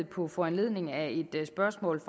på foranledning af et spørgsmål